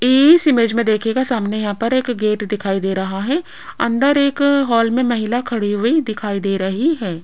इस इमेज में देखिएगा सामने यहां पर एक गेट दिखाई दे रहा है अंदर एक हॉल में महिला खड़ी हुई दिखाई दे रही है।